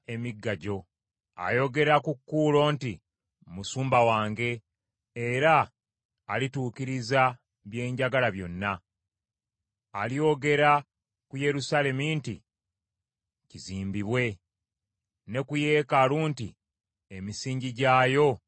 Ayogera ku Kuulo nti, ‘Musumba wange era alituukiriza bye njagala byonna.’ Alyogera ku Yerusaalemi nti, ‘Kizimbibwe,’ ne ku yeekaalu nti, ‘Emisingi gyayo gizimbibwe.’ ”